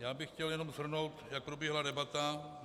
Já bych chtěl jenom shrnout, jak proběhla debata.